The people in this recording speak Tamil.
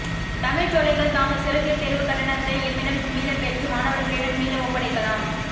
தமிழ்ச்சோலைகள் தாங்கள் செலுத்திய தேர்வுக்கட்டணத்தை எம்மிடம் மீளப்பெற்று மாணவர்களிடம் மீள ஒப்படைக்கலாம்